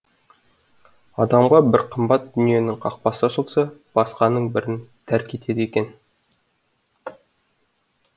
адамға бір қымбат дүниенің қақпасы ашылса басқаның бәрін тәрк етеді екен